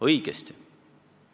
Õige!